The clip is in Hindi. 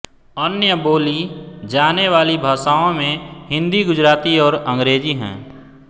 अन्य बोली जाने वाली भाषाओं में हिन्दी गुजराती और अंग्रेज़ी हैं